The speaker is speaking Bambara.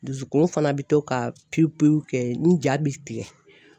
Dusukun fana bɛ to ka pewu pewu kɛ n ja bɛ tigɛ.